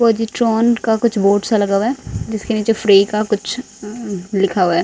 Positron का कुछ board सा लगा हुआ है जिसके नीचे फ्री का कुछ लिखा हुआ है।